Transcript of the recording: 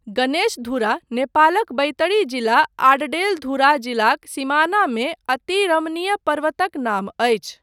गणेश धुरा नेपालक बैतडी जिला आडडेलधुरा जिलाक सिमानामे अति रमणिय पर्वतक नाम अछि।